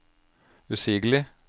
usigelig